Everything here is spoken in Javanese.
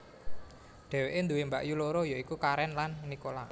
Dheweke duwé mbakyu loro ya iku Karen lan Nicola